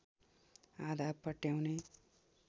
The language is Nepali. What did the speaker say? आधा पट्याउने